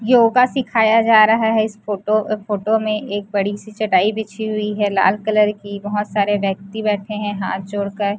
योग सिखाया जा रहा है इस फोटो अ फोटो में एक बड़ी सी चटाई बिछी हुई है लाल कलर की बहोत सारे व्यक्ति बैठे है हाथ जोड़कर।